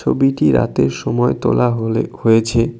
ছবিটি রাতের সময় তোলা হলে হয়েছে।